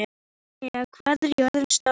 Árnína, hvað er jörðin stór?